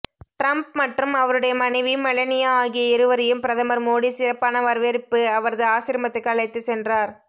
Trump மற்றும் அவருடைய மனைவி மெலனியா ஆகிய இருவரையும் பிரதமர் மோடி சிறப்பான வரவேற்பு அவரது ஆசிரமத்துக்கு அழைத்துச் சென்றார்